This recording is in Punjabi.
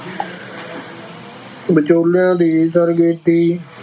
ਵਿਚੋਲਿਆਂ ਦੀ